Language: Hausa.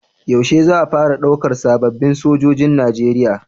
Yaushe za a fara ɗaukan sababin Sojojin nigeria?